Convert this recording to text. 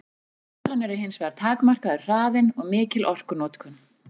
Gallarnir eru hins vegar takmarkaður hraðinn og mikil orkunotkun.